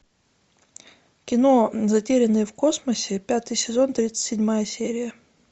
кино затерянные в космосе пятый сезон тридцать седьмая серия